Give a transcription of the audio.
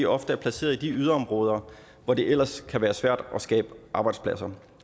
ofte er placeret i de yderområder hvor det ellers kan være svært at skabe arbejdspladser